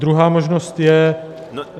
Druhá možnost je...